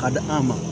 Ka di an ma